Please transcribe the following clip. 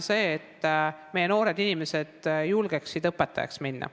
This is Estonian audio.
Esiteks see, et noored inimesed peaksid julgema õpetajaks minna.